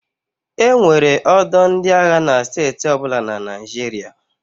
E nwere ọdọ ndị agha na steeti ọbụla na Naịjirịa.